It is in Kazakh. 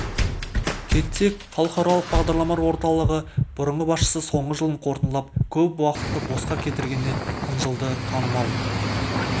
кетсек халықаралық бағдарламалар орталығы бұрынғы басшысы соңғы жылын қорытындылап көп уақытты босқа кетіргеніне қынжылды танымал